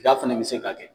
Da fana bɛ se ka kɛ